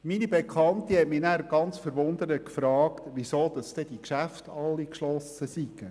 Meine Bekannte hat mich verwundert gefragt, weshalb die Geschäfte geschlossen seien.